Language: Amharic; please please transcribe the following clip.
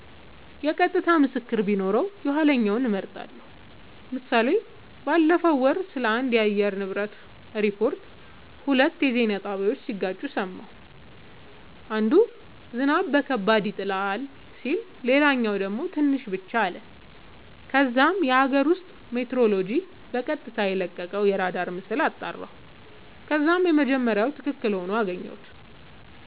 የቀጥታ ምስክር ቢኖረው የኋለኛውን እመርጣለሁ ## ምሳሌ ባለፈው ወር ስለአንድ የአየር ንብረት ሪፖርት ሁለት የዜና ጣቢያወች ሲጋጩ ሰማሁ። አንዱ "ዝናብ ከባድ ይሆናል " ሲል ሌላኛው ደግሞ "ትንሽ ብቻ " አለ። ከዛም የአገር ውስጥ ሜትሮሎጅ በቀጥታ የለቀቀውን አራዳር ምስል አጣራሁ ከዛም የመጀመሪያው መረጃ ትክክል ሆኖ አገኘሁት